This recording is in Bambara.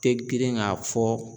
Te girin ka fɔ